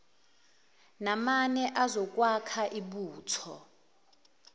namane azokwakha ibutho